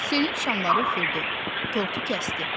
Selin şamları üfürdü, tortu kəsdi.